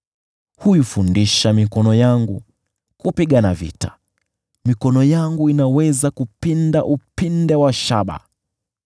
Huifundisha mikono yangu kupigana vita; mikono yangu inaweza kupinda upinde wa shaba.